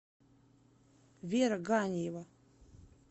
вера галиева